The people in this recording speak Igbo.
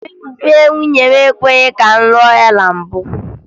Ndị be nwunye m ekwebughi ka m lụọ ya na mbụ